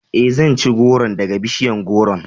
Ee, zan ci gworon daga bishiyar gworon..